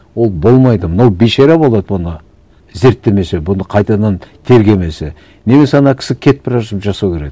ол болмайды мынау бейшара болады бұны зерттемесе бұны қайтадан тергемесе немесе ана кісі кетіп бара жатып жасау керек